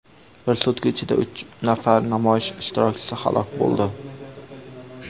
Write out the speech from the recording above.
Bir sutka ichida uch nafar namoyish ishtirokchisi halok bo‘ldi.